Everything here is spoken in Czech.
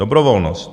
Dobrovolnost.